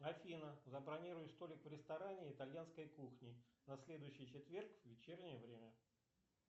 афина забронируй столик в ресторане итальянской кухни на следующий четверг в вечернее время